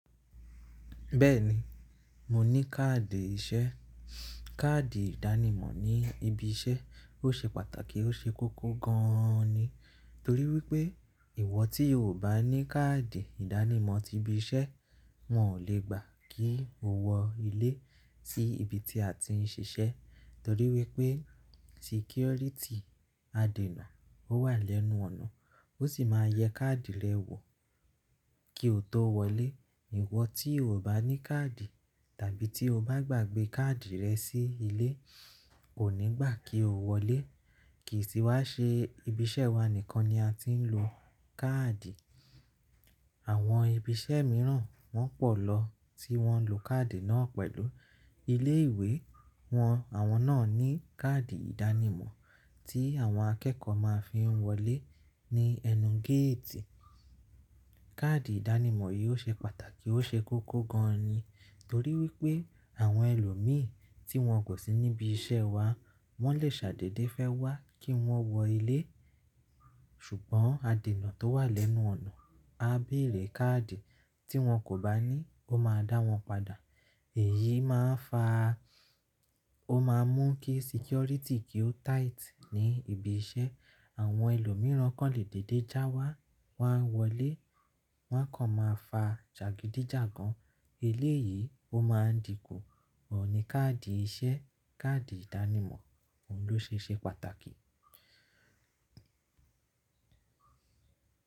Bẹ́ẹ̀ni, mo ní káàdì iṣẹ́. Káàdì ìdánimọ̀ ní ibi iṣẹ́ ó ṣe pàtàkì, ó ṣe kókó gan ni. Torí wípé, ìwọ tí o kò bá ní káàdì ìdánimọ̀ ti ibi iṣẹ́, wọn ò lè gbà kí o wọ ilé tí ibi tí a ti ń ṣiṣẹ́. Torí wípé, security àdènà ó wà lẹ́nu ọ̀nà, ó sì máa yẹ káàdì rẹ wò kí o tó wọlé. Ìwọ tí o bá ní káàdì tàbí tí o bá gbàgbẹ́ káàdì rẹ sí ilé, kò ní gbà kí o wọlé. Kì í tì wá ṣe ibi iṣẹ́ wa nìkan ni a ti ń lo káàdì. Àwọn ibi iṣẹ́ míràn wọ́n pọ̀ lọ tí wọ́n lo káàdì náà pẹ̀lú ilé ìwé wọn. Àwọn náà ní káàdì ìdánimọ̀ tí àwọn akẹ́kọ̀ọ́ máa fi ń wọlé ní ẹnu géètì. Káàdì ìdánimọ̀ yìí ó ṣe pàtàkì, ó ṣe kókó gan ni. Torí wípé, àwọn ẹlòmíì tí wọn kò sí níbi iṣẹ́ wa, wọ́n lè ṣàdédé fẹ́ wá kí wọ́n wọ ilé. Ṣùgbọ́n, àdènà tó wà lẹ́nu ọ̀nà á béèrè káàdì. Tí wọn kò bá ní, ó máa dá wọn padà. Èyí máa ń fa, ó máa ń mú kí security kí ó tight ní ibi iṣẹ́. Àwọn ẹlòmíràn kàn lè dédé já wá, wá wọlé, wọ́n kàn máa fa jàgídíjàgan. Eléyìí ó máa dinku. Òun ni káàdì iṣẹ́, káàdì ìdánimọ̀, òun ló ṣe é ṣe pàtàkì.